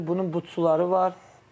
Düzdür, bunun butsuları var.